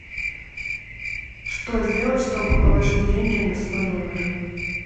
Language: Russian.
что сделать чтобы положить деньги на свой номер